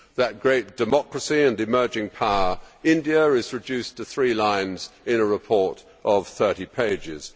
That great democracy and emerging power, India, is reduced to three lines in a report of 30 pages.